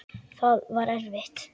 Það var erfitt.